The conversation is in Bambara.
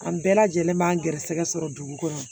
An bɛɛ lajɛlen ma garisɛgɛ sɔrɔ dugu kɔnɔ